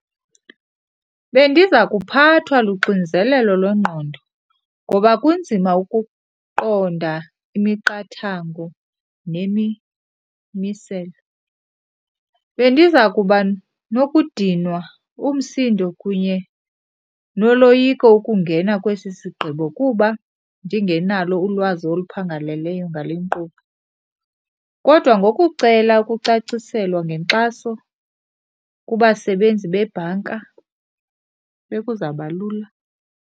Bendiza kuphathwa luxinzelelo lwengqondo ngoba kunzima ukuqonda imiqathango nemimiselo. Bendiza kuba nokudinwa, umsindo kunye noloyiko ukungena kwesi sigqibo kuba ndingenalo ulwazi oluphangaleleyo ngale nkqubo, kodwa ngokucela ukucaciselwa ngenkxaso kubasebenzi bebhanka bekuzawuba lula.